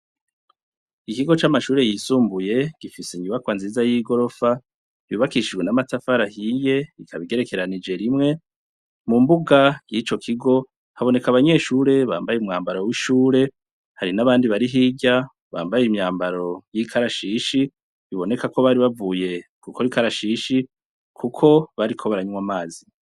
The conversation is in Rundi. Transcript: Ikigo camashure yisumbuye gifise inyubakwa nziza yigorofa yubakishijwe namatafari ahiye ikaba igerekeranije rimwe mumbuga yico kigo haboneka abanyeshure bambaye umwambaro wishure hari nabandi barihirya bambaye imyambaro yikarashishi biboneka ko bari bavuye gukora ikarashishi kuko bariko baranywa amazi